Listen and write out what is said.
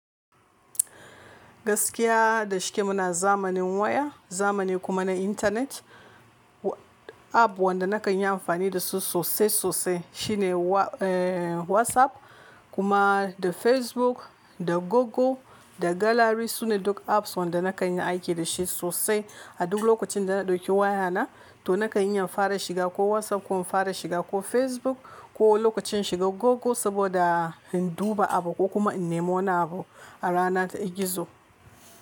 Gaskiya da shike muna zamanin waya, zamani kuma na intanet, app wanda na kan yi amfani da su sosai sosai shine eh WhatsApp kuma da Facebook da Google da gallery sune duk apps wanda na kan yi aiki da shi sosai a duk lokacin da na ɗauki waya na to na kan iya fara shiga ko WhatsApp ko fara shiga ko Facebook ko lokacin shiga Google saboda in duba abu ko kuma in nemo nabo a rana ta gizo.